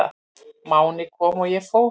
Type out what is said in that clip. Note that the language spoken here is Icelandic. Máni kom og ég fór.